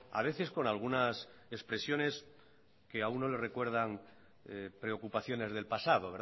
a veces con algunas expresiones que a uno le recuerdan preocupaciones del pasado